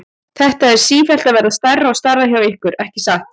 Þetta er sífellt að verða stærra og stærra hjá ykkur, ekki satt?